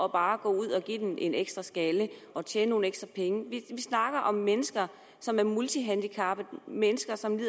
bare at gå ud og give den en ekstra skalle og tjene nogle ekstra penge vi snakker om mennesker som er multihandicappet mennesker som